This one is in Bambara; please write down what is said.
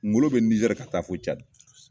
Ngolo be Nizɛri ka taa fɔ Cadi.